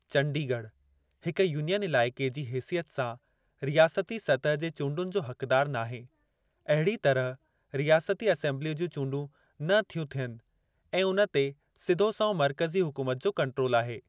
चंडीगढ़, हिकु यूनियन इलाइक़े जी हेसियत सां, रियासती सतह जे चूंडुनि जो हक़दार नाहे अहिड़ीअ तरह, रियासती असीमबलीअ जूं चूंडूं न थियूं थियनि ऐं उन ते सिधो संओं मर्कज़ी हुकूमत जो कंट्रोल आहे।